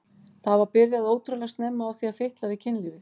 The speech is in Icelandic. Það var byrjað ótrúlega snemma á því að fitla við kynlífið.